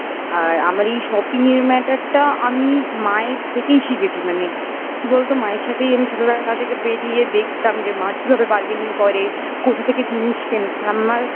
আর আমার এই shopping এর matter টা আমি মায়ের থেকেই শিখেছি মানে কি বলতো মায়ের সাথেই আমি ছোটবেলা থেকে বেরিয়ে দেখতাম যে মা কিভাবে burgaining করে কোথা থেকে জিনিস কেনে আমার